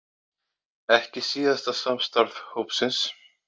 Ekki síðasta samstarf hópsins